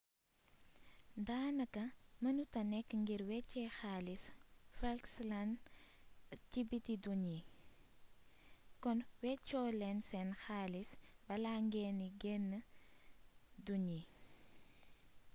daanaka mënuta nekk ngir wéecee xaalisu falklands ci biti dun yi kon weccoo leen seen xaalis bala ngeena genn dun yi